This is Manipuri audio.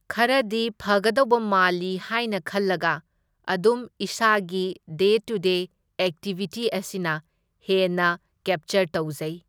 ꯈꯔꯗꯤ ꯐꯪꯒꯗꯧꯕ ꯃꯥꯜꯂꯤ ꯍꯥꯢꯅ ꯈꯜꯂꯒ ꯑꯗꯨꯝ ꯏꯁꯥꯒꯤ ꯗꯦ ꯇꯨ ꯗꯦ ꯑꯦꯛꯇꯤꯕꯤꯇꯤ ꯑꯁꯤꯅ ꯍꯦꯟꯅ ꯀꯦꯞꯆꯔ ꯇꯧꯖꯩ ꯫